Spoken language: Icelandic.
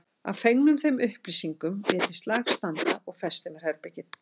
Að fengnum þeim upplýsingum lét ég slag standa og festi mér herbergið.